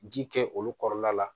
Ji kɛ olu kɔrɔ la la